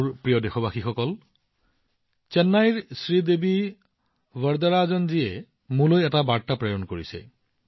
মোৰ মৰমৰ দেশবাসীসকল চেন্নাইৰ শ্ৰীদেৱী বৰ্দৰাজনজীয়ে মোলৈ এটা স্মাৰক প্ৰেৰণ কৰিছে